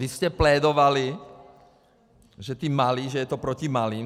Vy jste plédovali, že ti malí, že je to proti malým.